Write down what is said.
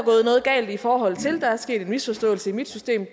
noget galt i forhold til der er sket en misforståelse i mit system